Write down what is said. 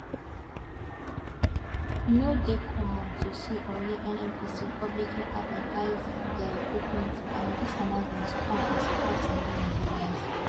e no dey common to see or hear nnpc publicly advertise dia recruitment and dis announcement come as surprise to many nigerians